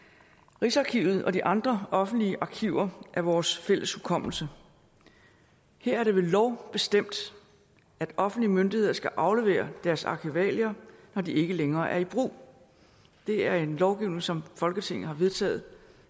rigsarkivet og de andre offentlige arkiver er vores fælles hukommelse her er det ved lov bestemt at offentlige myndigheder skal aflevere deres arkivalier når de ikke længere er i brug det er en lovgivning som folketinget har vedtaget